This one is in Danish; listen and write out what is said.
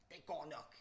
Det går nok